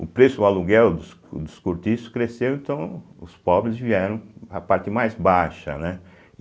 O preço, o aluguel dos dos cortiços cresceu, então os pobres vieram a parte mais baixa, né?